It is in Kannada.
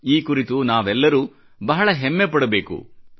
ಈ ಕುರಿತು ನಾವೆಲ್ಲರೂ ಬಹಳ ಹೆಮ್ಮೆ ಪಡಬೇಕು